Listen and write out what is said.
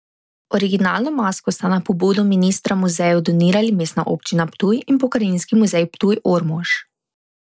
Originalno masko sta na pobudo ministra muzeju donirali Mestna občina Ptuj in Pokrajinski muzej Ptuj Ormož.